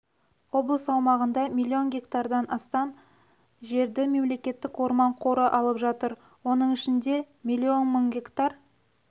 облыс аумағында млн гектардан астам жерді мемлекеттік орман қоры алып жатыр оның ішінде миллион мың гектар